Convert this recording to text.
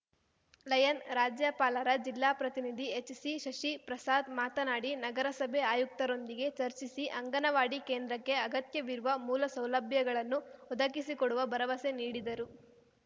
lion ರಾಜ್ಯಪಾಲರ ಜಿಲ್ಲಾ ಪ್ರತಿನಿಧಿ ಎಚ್‌ಸಿ ಶಶಿಪ್ರಸಾದ್‌ ಮಾತನಾಡಿ ನಗರಸಭೆ ಆಯುಕ್ತರೊಂದಿಗೆ ಚರ್ಚಿಸಿ ಅಂಗನವಾಡಿ ಕೇಂದ್ರಕ್ಕೆ ಅಗತ್ಯವಿರುವ ಮೂಲ ಸೌಲಭ್ಯಗಳನ್ನು ಒದಗಿಸಿಕೊಡುವ ಭರವಸೆ ನೀಡಿದರು